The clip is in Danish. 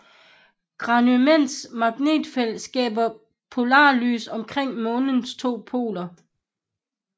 Ganymedes magnetfelt skaber polarlys omkring månens to poler